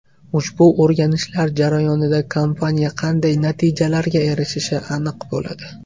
Ushbu o‘rganishlar jarayonida kompaniya qanday natijalarga erishishi aniq bo‘ladi.